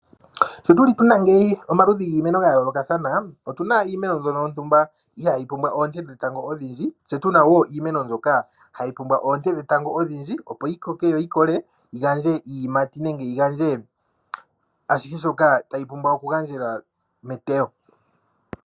Sho tu li tu na ngeyi omaludhi giimeno ga yoolokathana, otu na iimeno ndyono yimwe yontumba ihaa yi pumbwa oonte dhetango odhindji. Tse tu na wo iimeno mbyoka hayi pumbwa oonte dhetango odhindji opo yi koke, yo yi kole yi gandje iiyimati nenge yi gandje ashihe shoka tayi pumbwa oku gandjela meteyo.